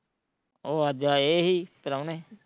ਉਹ ਅੱਜ ਆਏ ਸੀ, ਪਰਾਉਣੇ